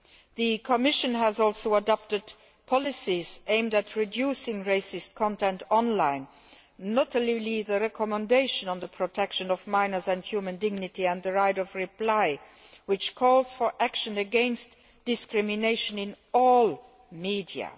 The Commission has also adopted policies aimed at reducing racist content online, notably the recommendation on the protection of minors and human dignity and the right of reply, which calls for action against discrimination in all media.